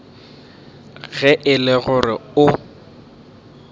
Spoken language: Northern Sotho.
ge e le gore o